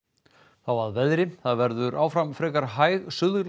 þá að veðri það verður áfram frekar hæg